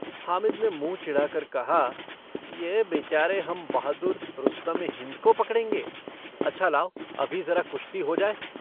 हामिद ने मुंह चिढ़ा कर कहा - यह बेचारे हम बहादुर रुस्तमे-हिन्द को पकड़ेंगे! अच्छा लाओ, अभी जरा कुश्ती हो जाए।